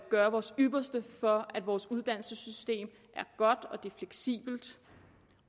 gøre vores ypperste for at vores uddannelsessystem er godt